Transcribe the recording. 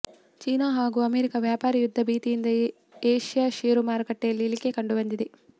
China ಹಾಗೂ America ವ್ಯಾಪಾರಿ ಯುದ್ಧ ಭೀತಿಯಿಂದ ಏಷ್ಯಾ ಷೇರು ಮಾರುಕಟ್ಟೆಯಲ್ಲಿ ಇಳಿಕೆ ಕಂಡು ಬಂದಿದೆ